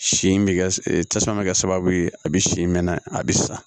Sin bɛ kɛ tasuma bɛ kɛ sababu ye a bɛ sin mɛ na a bɛ sa